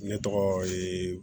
Ne tɔgɔ ye